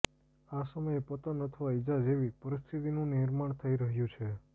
આ સમયે પતન અથવા ઈજા જેવી પરિસ્થિતિનું નિર્માણ થઈ રહ્યું છે